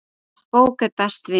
Bók er best vina.